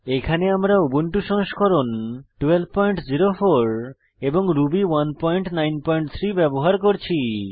এখানে আমরা উবুন্টু সংস্করণ 1204 এবং রুবি 193 ব্যবহার করছি